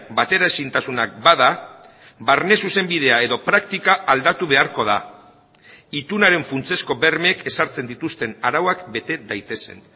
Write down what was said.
bateraezintasunak bada barne zuzenbidea edo praktika aldatu beharko da itunaren funtsezko bermeek ezartzen dituzten arauak bete daitezen